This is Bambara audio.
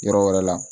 Yɔrɔ wɛrɛ la